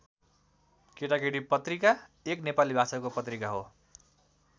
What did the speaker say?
केटाकेटी पत्रिका एक नेपाली भाषाको पत्रिका हो।